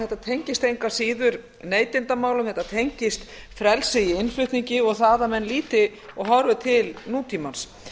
þetta tengist engu að síður neytendamálum þetta tengist frelsi í innflutningi og því að menn líti og horfi til nútímans